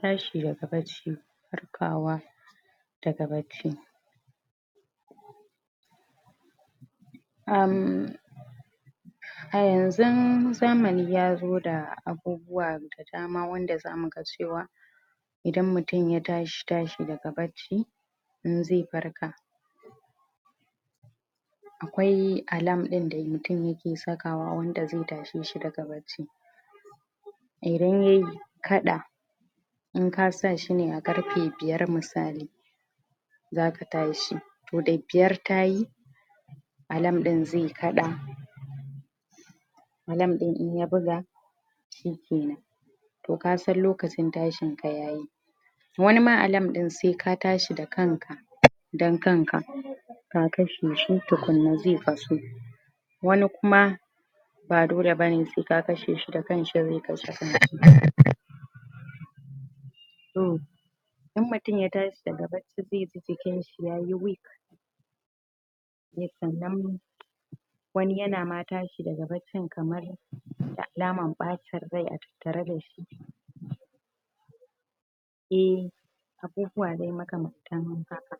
Tashi da ga barci farkawa da ga barci a yanzun zamani ya zo da abubuwa da dama wanda za mu gan cewa idan mutum ya tashi, tashi da ga baci in zai farka akwai alarm in da mutum ya ke saka wa wanda zai tashe shi da ga baci idan ya qadda in ka sa shi ne a garfe biyar misali za ka tashi toh da biyar ta yi alarm in zai qadda alarm in, in ya buga shi kenan toh ka san lokacin tashin ka yayi wani ma alarm in sai ka tashi da kan ka dan kan ka ka kashe shi, tukunna zai kasu wani kuma ba dole ba ne, sai ka kashe shi, da kan shi zai kashe kan shi toh in mutum ya tashi da ga barci zai ji jikin shi yayi weak sannan wani ya na ma tashi da ga barcin kamar da alaman bacin rai a tattare da shi eh abubuwa ne ma kamanta haka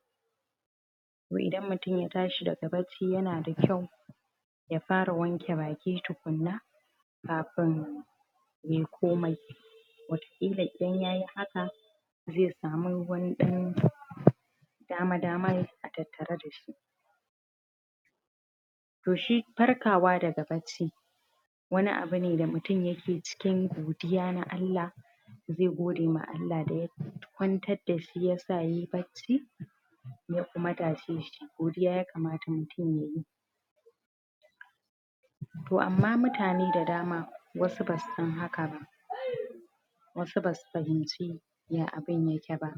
toh idan mutum ya tashi da ga barci, ya na da kyau ya fara wanke baki tukunna kafin yayi komai wata kilan, in ya yi haka zai samu wani dan dama daman a tattare da shi toh shi farkawa da ga barci wani abu ne, da mutum ya ke cikin godiya na Allah zai gode ma Allah da ya kwantar da shi, ya sa, ya yi barci ya kuma tashe shi godiya ya kamata mutum ya yi toh ama, mutane da dama wasu ba su san haka ba wasu ba su fahimci ya abun ya ke ba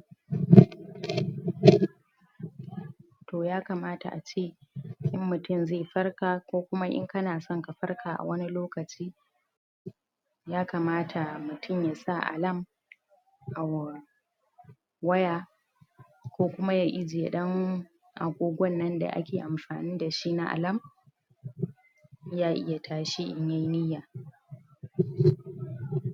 toh ya kamata a ce in mutum zai farka, ko kuma in ka na so ka farka a wani lokaci ya kamata mutum ya sa alarm a wa waya ko kuma ya ajiye dan agogon nan da ake amfani da shi na alarm ya iya tashi in ya yi niyan